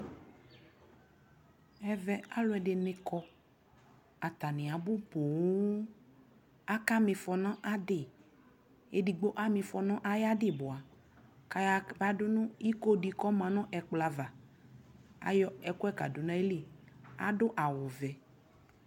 Ɛvɛ alʋɔdι nι kɔ Atani abu poo Akama ifɔ nʋ adι, edigbo ama ifɔ nʋ ayʋ adι bua kʋ ayaɣa dʋ nʋ ιko dι mʋ ɔma nʋ ɛkplɔ ava Ayɔ ɛkʋɛ kadʋ ayʋlι Adʋ awuvɛ